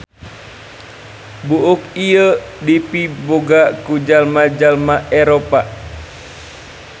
Buuk ieu dipiboga ku jalma-jalma Eropa.